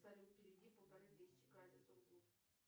салют переведи полторы тысячи кате сургут